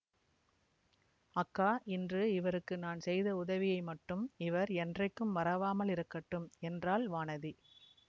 அக்கா இன்று இவருக்கு நான் செய்த உதவியை மட்டும் இவர் என்றைக்கும் மறவாமலிருக்கட்டும் என்றாள் வானதி